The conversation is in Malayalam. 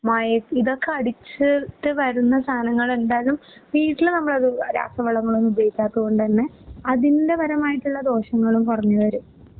മായം ഇതൊക്കെ അടിച്ച് ട്ട് വരുന്ന സാനങ്ങളെന്തായാലും വീട്ടില് നമ്മള് രാസവളങ്ങളൊന്നും ഉപയോഗിക്കാത്തകൊണ്ട്തന്നെ അതിൻ്റെപരമായിട്ടുള്ള ദോഷങ്ങളും കുറഞ്ഞുവരും.